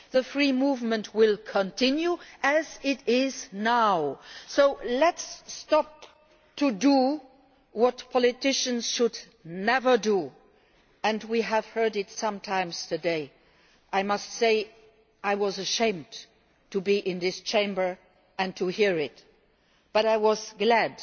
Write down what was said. change. Free movement will continue as it is now. So let us stop doing what politicians should never do. We have heard it on occasion today. I must say that I was ashamed to be in this Chamber and to hear it, but